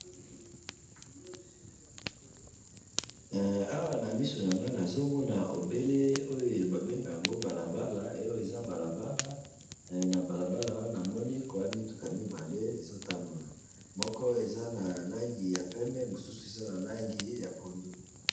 awa na misu nangai nazomona obele oyo babengaka yango balabala, oyo eza balabala, na balabala wana, namoni mituka mibale ezotambula, moko eza na langi ya pembe, mususu eza na langi ya pondu